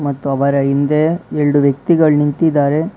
ಮತ್ತು ಅವರ ಹಿಂದೆ ಎರಡು ವ್ಯಕ್ತಿಗಳ್ ನಿಂತಿದ್ದಾರೆ.